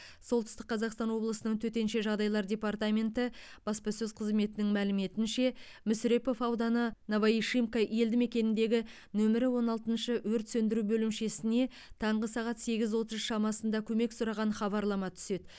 солтүстік қазақстан облысының төтенше жағдайлар департаменті баспасөз қызметінің мәліметінше мүсірепов ауданы новоишимка елдімекеніндегі нөмірі он алтыншы өрт сөндіру бөлімшесіне таңғы сағат сегіз отыз шамасында көмек сұраған хабарлама түседі